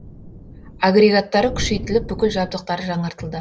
агрегаттары күшейтіліп бүкіл жабдықтары жаңартылды